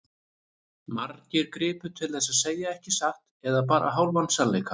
Margir gripu til þess að segja ekki satt eða bara hálfan sannleika.